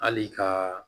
Hali kaaa